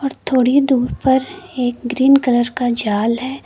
और थोड़ी दूर पर एक ग्रीन कलर का जाल है।